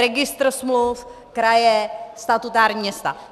Registr smluv - kraje, statutární města.